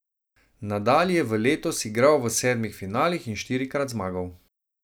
Nadal je v letos igral v sedmih finalih in štirikrat zmagal.